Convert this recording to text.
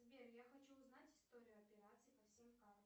сбер я хочу узнать историю операций по всем картам